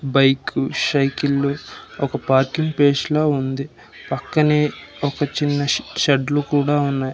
Bike సైకిల్లు ఒక parking space లా ఉంది పక్కనే ఒక చిన్న షె షెడ్ లు కూడా ఉన్నాయి.